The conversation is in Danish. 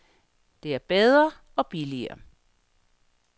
Det er bedre, og billigere.